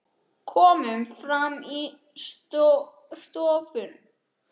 Komum fram í stofu.